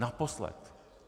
Naposled.